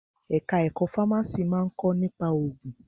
Ẹ̀ka ẹ̀kọ́ fámásì máa ń kọ́ nípa òògùn.